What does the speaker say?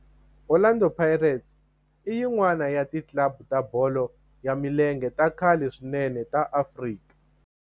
Orlando Pirates i yin'wana ya ti club ta bolo ya milenge ta khale swinene ta Afrika